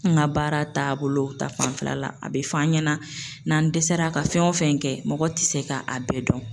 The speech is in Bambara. N ka baara taabolo ta fanfɛla la, a bɛ f'an ɲɛna n'an dɛsɛra ka fɛn o fɛn kɛ mɔgɔ ti se k'a bɛɛ dɔn